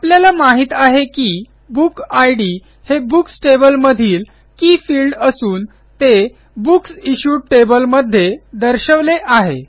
आपल्याला माहित आहे की बुक इद हे बुक्स टेबल मधील के फील्ड असून ते बुक्स इश्यूड टेबल मध्ये दर्शवले आहे